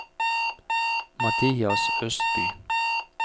Mathias Østby